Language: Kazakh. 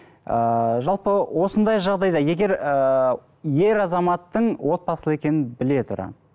ыыы жалпы осындай жағдайда егер ыыы ер азаматтың отбасылы екенін біле тұра